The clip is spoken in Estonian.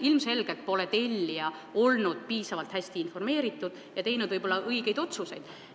Ilmselgelt pole tellija olnud piisavalt hästi informeeritud ja õigeid otsuseid teinud.